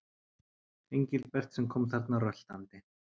Engilbert sem kom þarna röltandi.